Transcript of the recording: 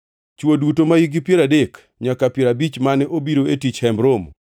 Chwo duto mahikgi piero adek nyaka piero abich mane obiro tich e Hemb Romo,